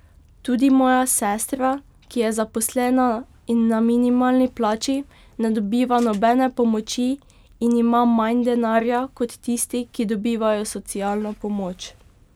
Tudi moja sestra, ki je zaposlena in na minimalni plači, ne dobiva nobene pomoči in ima manj denarja kot tisti, ki dobivajo socialno pomoč.